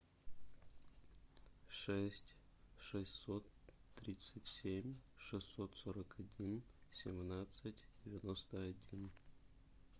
шесть шестьсот тридцать семь шестьсот сорок один семнадцать девяносто один